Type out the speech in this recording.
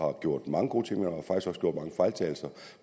har gjort mange gode ting